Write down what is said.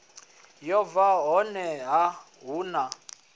yo bva honeha hu na